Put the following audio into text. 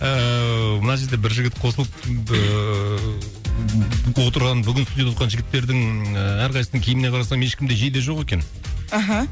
ыыы мына жерде бір жігіт қосылып ыыы отырған бүгін студияда отқан жігіттердің ыыы әрқайсысының киіміне қарасам ешкімде жейде жоқ екен аха